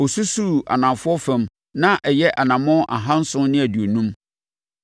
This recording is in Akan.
Ɔsusuu anafoɔ fam, na ɛyɛ anammɔn ahanson ne aduonum.